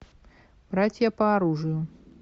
братья по оружию